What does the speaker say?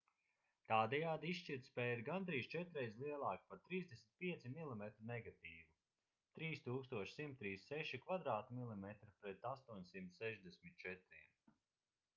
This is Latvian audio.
tādējādi izšķirtspēja ir gandrīz četrreiz lielāka par 35 mm negatīvu 3136 mm2 pret 864